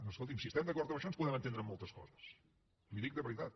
no escolti’m si estem d’acord en això ens podem entendre amb moltes coses li ho dic de veritat